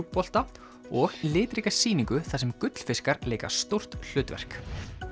mjúkbolta og litríka sýningu þar sem gullfiskar leika stórt hlutverk